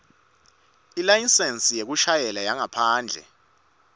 ilayisensi yekushayela yangaphandle